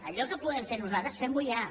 allò que podem fer nosaltres fem ho ja